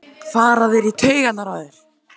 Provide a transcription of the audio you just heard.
fara þeir í taugarnar á þér?